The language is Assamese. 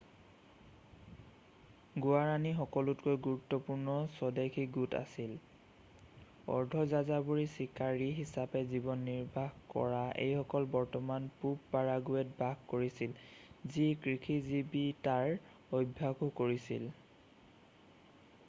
গুৱাৰাণী সকলোতকৈ গুৰুত্বপূৰ্ণ স্বদেশী গোট আছিল অৰ্ধযাযাবৰী চিকাৰী হিচাপে জীৱন নিৰ্বাহ কৰা এইসকলে বৰ্তমানৰ পূৱ পাৰাগুয়েত বাস কৰিছিল যি কৃষিজীবিতাৰ অভ্যাসও কৰিছিল